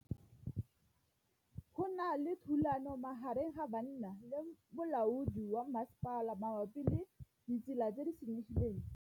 Go na le thulanô magareng ga banna le molaodi wa masepala mabapi le ditsela tse di senyegileng.